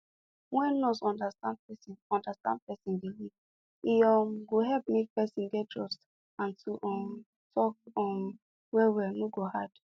wen nurse understand person understand person belief e um go help make person get trust and to um talk um well well no go hard